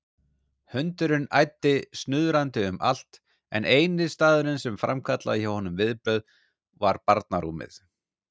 Hundurinn æddi snuðrandi um allt en eini staðurinn sem framkallaði hjá honum viðbrögð var barnarúmið.